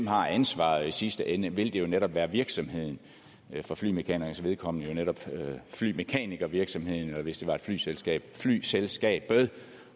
har ansvaret i sidste ende vil det jo netop være virksomheden for flymekanikeres vedkommende netop flymekanikervirksomheden og hvis det var et flyselskab flyselskabet